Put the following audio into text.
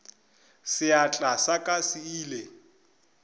seatla sa ka se ile